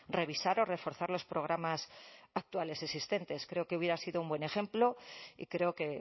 revisar o reforzar los programas actuales existentes creo que hubiera sido un buen ejemplo y creo que